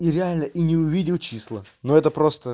и реально и не увидел числа ну это просто